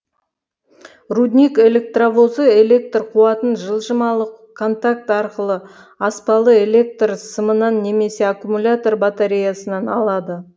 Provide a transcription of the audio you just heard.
рудник электровозы электр қуатын жылжымалы контакт арқылы аспалы электр сымынан немесе аккумулятор батареясынан алады